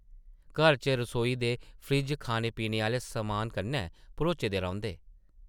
घर च रसोई दे फ्रिज खाने-पीने आह्ले समान कन्नै भरोचे दे रौंह्दे ।